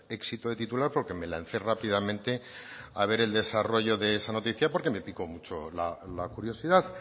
éxito de titular porque me lance rápidamente a ver el desarrollo de esa noticia porque me pico mucho la curiosidad